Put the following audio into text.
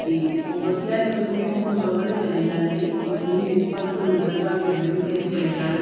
ਤੇ ਉਹ ਵਧੀਆ ਏ ਮਤਲਬ ਕੇ ਹੁਣ ਉਹਨਾ ਨੇ ਚੱਲੇ ਜਾਣਾ ਏ ਇਸ ਮਹੀਨੇ ਚ ਭਾਵੇਂ ਚੱਲੇ ਜਾਣ ਭਾਵੇਂ ਅੱਗਲੇ ਮਹੀਨੇ ਚ ਚਲੇ ਜਾਣ